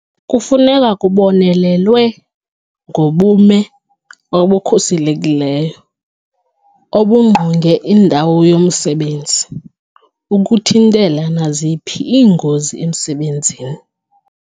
Kufuneka kubonelelwe ngobume obukhuselekileyo obungqonge indawo yomsebenzi ukuthintela naziphi iingozi emsebenzini.